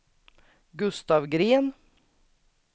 Gustaf Green